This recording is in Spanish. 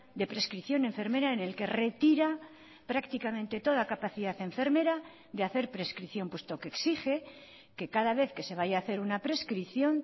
de prescripción enfermera en el que retira prácticamente toda capacidad enfermera de hacer prescripción puesto que exige que cada vez que se vaya a hacer una prescripción